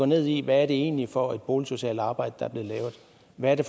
ned i hvad det egentlig er for et boligsocialt arbejde og hvad det